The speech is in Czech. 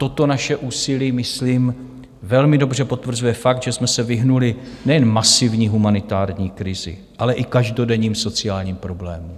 Toto naše úsilí myslím velmi dobře potvrzuje fakt, že jsme se vyhnuli nejen masivní humanitární krizi, ale i každodenním sociálním problémům.